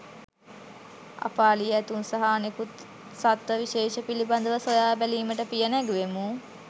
අප අලි ඇතුන් සහ අනෙකුත් සත්ව විශේෂ පිළිබඳව සොයාබැලීමට පිය නැගුවෙමු.